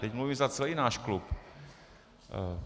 Teď mluvím za celý náš klub.